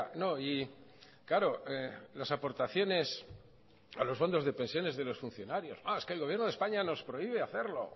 no y claro las aportaciones a los fondos de pensiones de los funcionarios es que el gobierno de españa nos prohíbe hacerlo